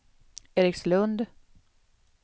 Erikslund